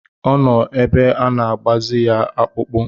Ọ nọ ebe ana-agbazi ya ọkpụkpụ.